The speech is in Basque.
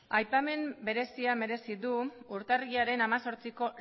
aipamen berezia merezi du urtarrilaren hemezortziko